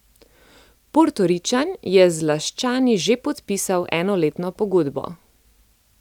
Portoričan je z Laščani že podpisal enoletno pogodbo.